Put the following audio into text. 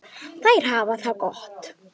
Þær hafa það gott.